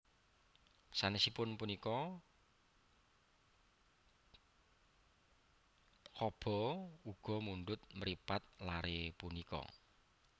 Sanesipun punika Chaba uga mundhut mripat lare punika